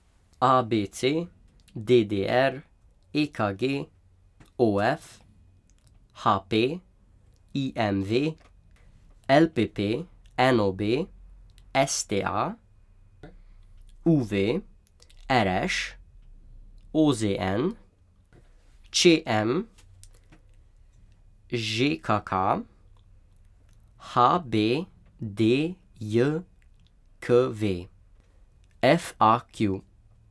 A B C; D D R; E K G; O F; H P; I M V; L P P; N O B; S T A; U V; R Š; O Z N; Č M; Ž K K; H B D J K V; F A Q.